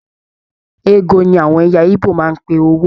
Ego ní àwọn ẹyà igbó máa n pé owó.